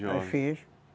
Eu fiz.